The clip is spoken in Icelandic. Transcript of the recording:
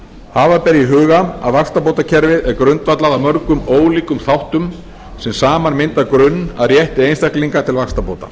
hafa ber í huga að vaxtabótakerfið er grundvallað á mörgum ólíkum þáttum sem saman mynda grunn að rétti einstakling til vaxtabóta